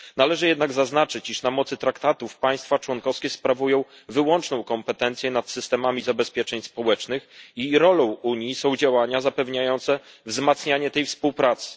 Należy jednak zaznaczyć, iż na mocy Traktatów państwa członkowskie sprawują wyłączną kompetencję nad systemami zabezpieczeń społecznych i rolą Unii są działania zapewniające wzmacnianie tej współpracy.